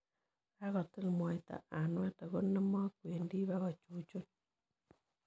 Kakotil moita anwet, ang' noo mi kwendi bikochuchun.